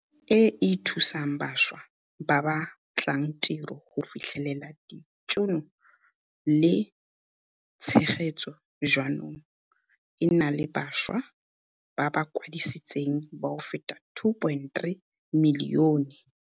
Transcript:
e e thusang bašwa ba ba batlang tiro go fitlhelela ditšhono le tshegetso jaanong e na le bašwa ba ba kwadisitsweng ba feta 2.3 milione.